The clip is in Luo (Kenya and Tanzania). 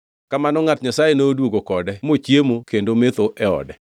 Kamano ngʼat Nyasaye noduogo kode mochiemo kendo metho e ode.